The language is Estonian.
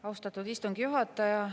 Austatud istungi juhataja!